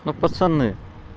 ну пацаны